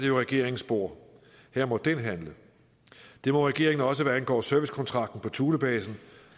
jo regeringens bord her må den handle det må regeringen også hvad angår servicekontrakten på thulebasen